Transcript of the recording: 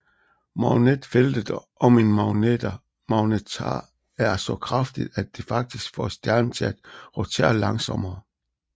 Magnetfeltet om en magnetar er så kraftigt at det faktisk får stjernen til at rotere langsommere